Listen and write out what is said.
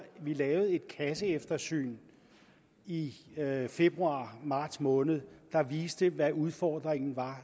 vi lavede et kasseeftersyn i februar marts måned der viste hvad udfordringen var